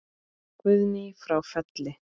Guðný frá Felli.